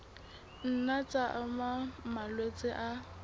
nna tsa ama malwetse a